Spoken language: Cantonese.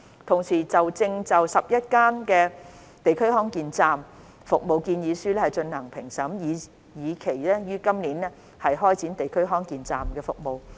同時，我們正就11區"地區康健站"服務建議書進行評審，以期於今年開展"地區康健站"的服務。